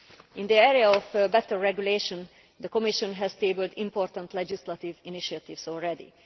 In the area of better regulation, the Commission has tabled important legislative initiatives already.